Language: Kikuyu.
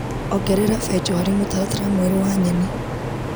Ongerera benjo harĩ mũtaratara mwerũ wa nyeni.